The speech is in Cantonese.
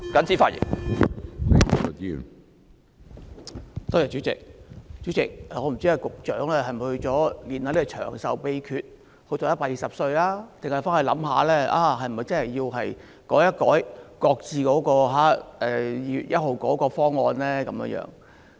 主席，我不知道局長回去會否修煉長壽的秘訣，希望活到120歲，還是會想一想是否真的須作出修改，擱置2月1日的方案。